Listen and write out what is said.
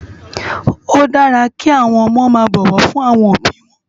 Ó dàrá ki áwòn òmò má bòwò fún áwòn óbi wòn